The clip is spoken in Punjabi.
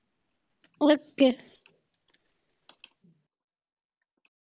Ok